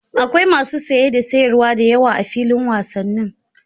Akwai masu saye da sayarwa da yawa a filin wasannin